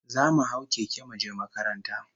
Zamu hau keke muje makaranta